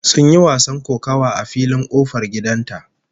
Sun yi wasan kokawa a filin kofar gidan ta